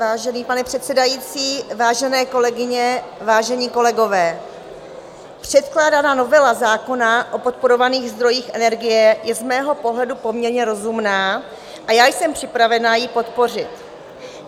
Vážený pane předsedající, vážené kolegyně, vážení kolegové, předkládaná novela zákona o podporovaných zdrojích energie je z mého pohledu poměrně rozumná a já jsem připravena ji podpořit.